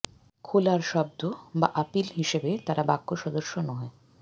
খোলার শব্দ বা আপীল হিসাবে তারা বাক্য সদস্য নয়